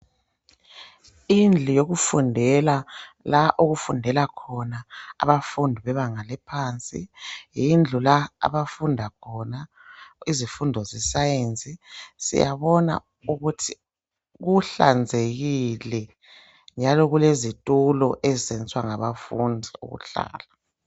Indlu yokufundela la okufundela khona abafundi bebanga lephansi. Yindlu la abafunda khona izifundo zesayensi, siyabona ukuthi kuhlanzekile .Njalo kulezithulo ezisetshenziswa ngabafundi ukuhlala.